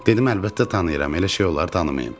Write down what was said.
Dedim, əlbəttə tanıyıram, elə şey olar tanımayım?